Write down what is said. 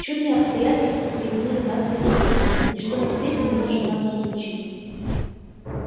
чудные обстоятельства соединили нас неразрывно ничто на свете не может нас разлучить